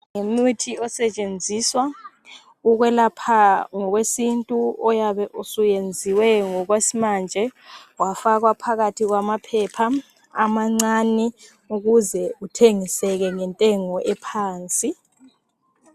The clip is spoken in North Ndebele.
Ngumuthi osebenziswa ukwelapha ngokwesintu oyabe suyenziwe ngokwasimanje wafakwa phakathi kwama phepha amancane ukuze uthengiseke ngentengo ephansi.